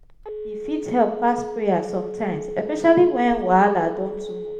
E fit help pass prayer sometimes especially wen wahala don too much.